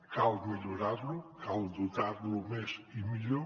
cal millorar lo cal dotar lo més i millor